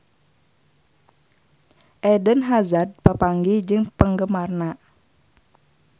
Eden Hazard papanggih jeung penggemarna